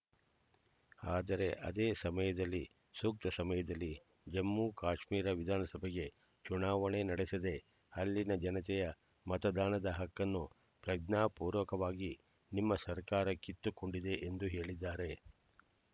ಆದರೆ ಅದೇ ಸಮಯದಲ್ಲಿ ಸೂಕ್ತ ಸಮಯದಲ್ಲಿ ಜಮ್ಮು ಕಾಶ್ಮೀರ ವಿಧಾನಸಭೆಗೆ ಚುನಾವಣೆ ನಡೆಸದೆ ಅಲ್ಲಿನ ಜನತೆಯ ಮತದಾನದ ಹಕ್ಕನ್ನು ಪ್ರಜ್ಞಾಪೂರ್ವಕವಾಗಿ ನಿಮ್ಮ ಸರ್ಕಾರ ಕಿತ್ತುಕೊಂಡಿದೆ ಎಂದು ಹೇಳಿದ್ದಾರೆ